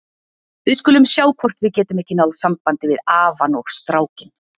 Við skulum sjá hvort við getum ekki náð sambandi við afann og strákinn.